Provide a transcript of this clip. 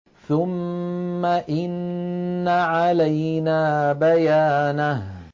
ثُمَّ إِنَّ عَلَيْنَا بَيَانَهُ